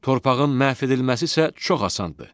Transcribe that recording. Torpağın məhv edilməsi isə çox asandır.